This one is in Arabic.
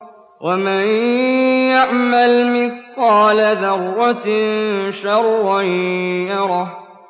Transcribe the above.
وَمَن يَعْمَلْ مِثْقَالَ ذَرَّةٍ شَرًّا يَرَهُ